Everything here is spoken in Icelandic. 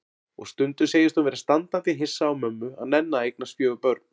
Og stundum segist hún vera standandi hissa á mömmu að nenna að eignast fjögur börn.